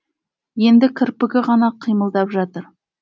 енді кірпігі ғана қимылдап жатыр